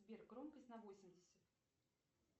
сбер громкость на восемьдесят